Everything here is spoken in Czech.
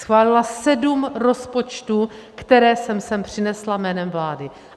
Schválila sedm rozpočtů, které jsem sem přinesla jménem vlády.